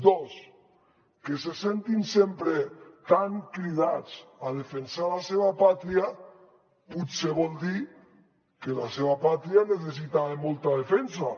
dos que se sentin sempre tan cridats a defensar la seva pàtria potser vol dir que la seva pàtria necessita molta defensa